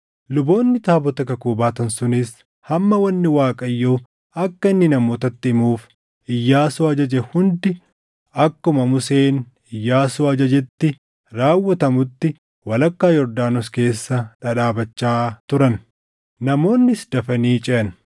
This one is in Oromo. Luboonni taabota kakuu baatan sunis hamma wanni Waaqayyo akka inni namootatti himuuf Iyyaasuu ajaje hundi akkuma Museen Iyyaasuu ajajetti raawwatamutti walakkaa Yordaanos keessa dhadhaabachaa turan. Namoonnis dafanii ceʼan;